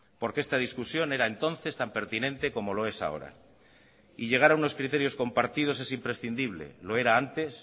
porque esta discusión era entonces tan pertinente como lo es ahora y llegar a unos criterios compartidos es imprescindible lo era antes